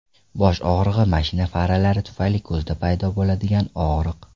Bosh og‘rig‘i, mashina faralari tufayli ko‘zda paydo bo‘ladigan og‘riq.